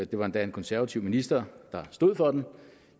det var endda en konservativ minister der stod for den